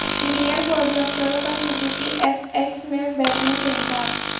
senior فوجی افسروں کا سوزوکی ایف ایکس میں بیٹھنے سے انکار